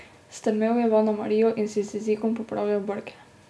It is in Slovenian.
Strmel je v Anamarijo in si z jezikom popravljal brke.